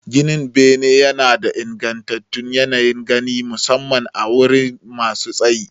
Gidan bene yana ba da ingantattun yanayin gani, musamman a wurare masu tsayi.